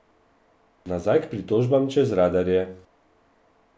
Nazaj k pritožbam čez radarje.